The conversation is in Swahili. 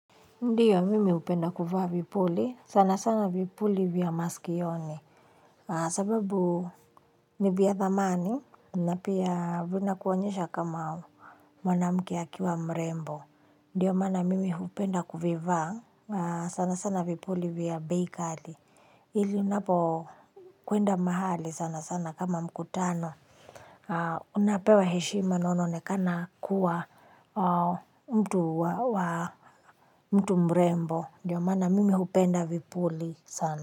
Ndiyo, mimi upenda kuvaa vipuli. Sana sana vipuli vya maskioni. Sababu, ni vya thamani. Na pia, vina kuonyesha kama mwanamke akiwa mrembo. Ndiyo, mana mimi hupenda kuviva sana sana vipuli vya beikali. Hili, unapo kuenda mahali sana sana kama mkutano. Unapewa heshima na unaonekana kuwa mtu wa mtu mrembo, ndiyo mana mimi hupenda vipuli sana.